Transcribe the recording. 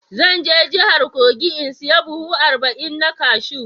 Zan je jihar kogi in saya buhu arba'in na cashew.